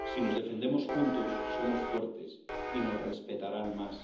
Si nos defendemos juntos, somos fuertes y nos respetarán más.